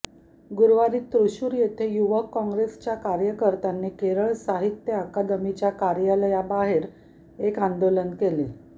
गुरुवारी तृशुर येथे युवक काँग्रेसच्या कार्यकर्त्यांनी केरळ साहित्य अकादमीच्या कार्यालयाबाहेर एक आंदोलन केले